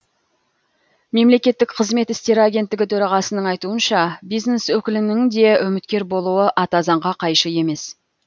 мемлекеттік қызмет істері агенттігі төрағасының айтуынша бизнес өкілінің де үміткер болуы ата заңға қайшы емес